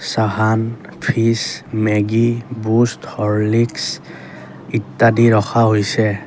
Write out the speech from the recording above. চাহান fridge Maggi Boost Horlicks ইত্যাদি ৰখা হৈছে।